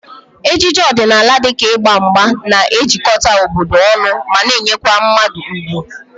Ejije ọdịnala dịka ịgba mgba na-ejikọta obodo ọnụ ma nyekwa mmadụ ugwu